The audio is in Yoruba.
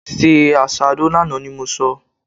Se àsáró lánàá ni mo sọ!